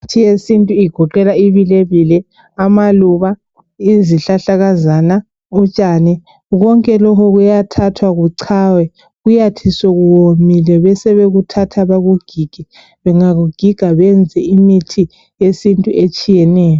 Imithi yesintu igoqela ibilebile, amaluba, izihlahlakazana, utshani. Konke lokhu kuyathathwa kuchaywe, kuyathi sekuwomile bebesebekuthatha bekugige, bengakugiga benze imithi yesintu etshiyeneyo.